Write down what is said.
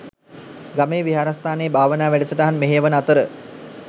ගමේ විහාරස්ථානයේ භාවනා වැඩසටහන් මෙහෙයවන අතර